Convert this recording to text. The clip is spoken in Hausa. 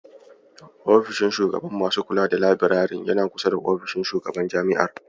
Ofishin shugaban masu kula da labirarin yana kusa da ofishin shugaban jami'ar.